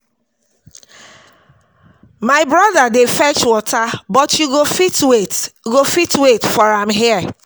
My broda dey fetch water but you go fit wait go fit wait for am here